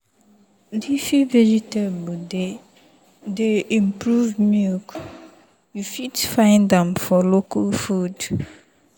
leafy veg dey improve milk you fit find am for local food.